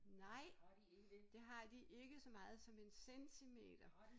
Nej det har de ikke så meget som en centimeter